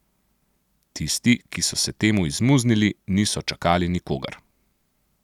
Tisti, ki so se temu izmuznili, niso čakali nikogar.